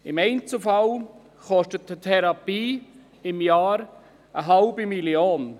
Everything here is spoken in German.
Im Einzelfall kostet eine Therapie im Jahr 0,5 Mio. Franken.